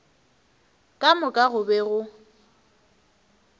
ka moka go be go